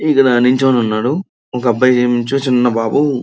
ఇందుల నిల్చొని ఉన్నాడు ఒకబ్బాయి ఏముంచొ చిన్న బాబు--